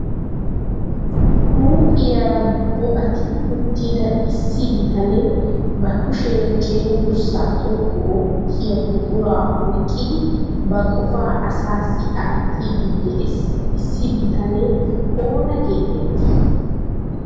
Huuphiyara bo"atti uttida issi bitanee ba kushiyan cenggurssa xoqqu oottiya buqura oyqqidi ba qofa asassi aattidi de'iya issi bitanee oona getetti?